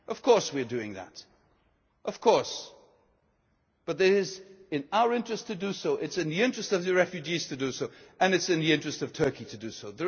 protection. Of course we are doing that but it is in our interest to do so, it is in the interests of the refugees to do so and it is in the interest of Turkey